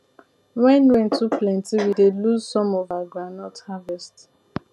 when rain too plenty we dey lose some of our groundnut harvest